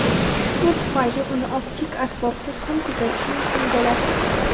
Shu tufayli uni optik asbobsiz ham kuzatish mumkin bo‘ladi.